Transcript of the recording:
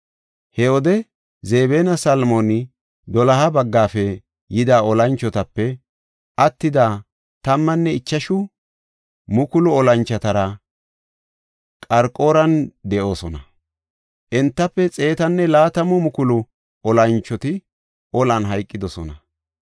He wode Zebinne Salmooni doloha baggafe yida olanchotape attida 15,000 olanchotara Qarqoran de7oosona. Entafe 120,000 olanchoti olan hayqidosona.